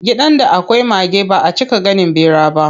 Gidan da akwai mage baʼa cika ganin ɓera ba.